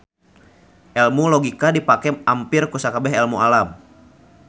Elmu logika dipake ampir ku sakabeh elmu alam